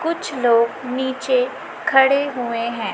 कुछ लोग नीचे खड़े हुए हैं।